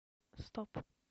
стоп